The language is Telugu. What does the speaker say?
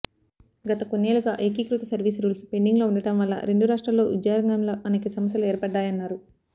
గత కొన్నేళ్లుగా ఏకీకృత సర్వీసు రూల్స్ పెండింగ్లో ఉండటం వల్ల రెండు రాష్ట్రాల్లో విద్యారంగంలో అనేక సమస్యలు ఏర్పడ్డాయన్నారు